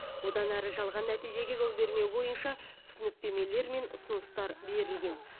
одан ары жалған нәтижеге жол бермеу бойынша түсініктемелер мен ұсыныстар берілген